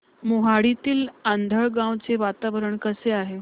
मोहाडीतील आंधळगाव चे वातावरण कसे आहे